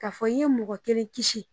Ka fɔ i ye mɔgɔ kelen kisi.